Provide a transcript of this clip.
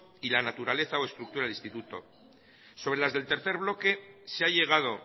y la naturaleza o estructura del instituto sobre las del tercer bloque se ha llegado